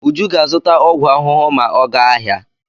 Uju ga-azụta ọgwụ ahụhụ ma ọ gaa ahịa.